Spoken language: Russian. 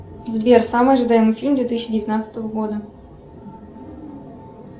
сбер самый ожидаемый фильм две тысячи девятнадцатого года